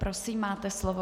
Prosím, máte slovo.